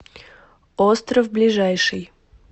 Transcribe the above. остров ближайший